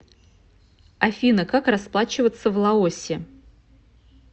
афина как расплачиваться в лаосе